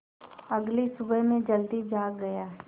अगली सुबह मैं जल्दी जाग गया